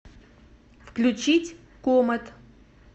включить комэт